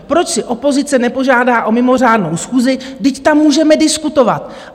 Proč si opozice nepožádá o mimořádnou schůzi, vždyť tam můžeme diskutovat?